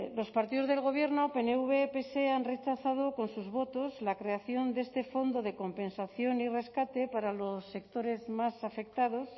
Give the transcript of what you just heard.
los partidos del gobierno pnv pse han rechazado con sus votos la creación de este fondo de compensación y rescate para los sectores más afectados